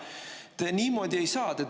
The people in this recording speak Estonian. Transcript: Te niimoodi ei saa!